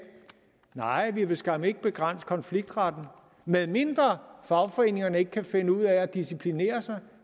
nej vi vil skam ikke begrænse konfliktretten medmindre fagforeningerne ikke kan finde ud af at disciplinere sig